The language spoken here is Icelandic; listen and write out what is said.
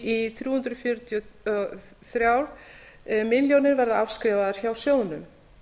í þrjú hundruð fjörutíu og þrjár milljónir króna verða afskrifaðar hjá sjóðnum